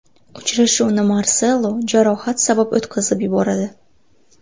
Uchrashuvni Marselo jarohat sabab o‘tkazib yuboradi.